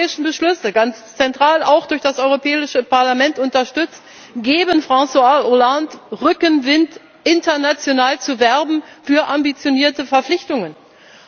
Die europäischen Beschlüsse, ganz zentral auch durch das Europäische Parlament unterstützt, geben François Hollande Rückenwind, international für ambitionierte Verpflichtungen zu werben.